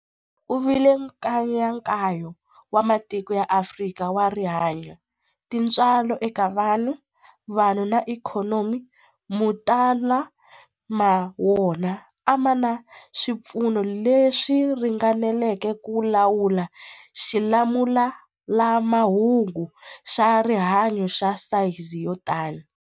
Ku vile nkayakayo wa matiko ya Afrika wa rihanyu, tintswalo eka vanhu, vanhu na ikhonomi, mo tala ma wona a ma na swipfuno leswi ringaneleke ku lawula xilamulelamhangu xa rihanyu xa sayizi yo tani.